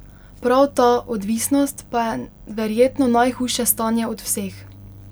Prav ta, odvisnost, pa je verjetno najhujše stanje od vseh.